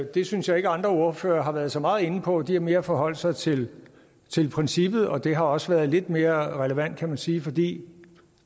det synes jeg ikke andre ordførere har været så meget inde på de har mere forholdt sig til princippet og det har også været lidt mere relevant kan man sige fordi